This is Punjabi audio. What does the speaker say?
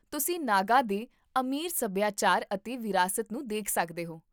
ਤੁਸੀਂ ਨਾਗਾ ਦੇ ਅਮੀਰ ਸਭਿਆਚਾਰ ਅਤੇ ਵਿਰਾਸਤ ਨੂੰ ਦੇਖ ਸਕਦੇ ਹੋ